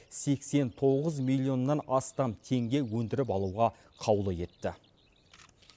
сексен тоғыз миллионнан астам теңге өндіріп алуға қаулы етті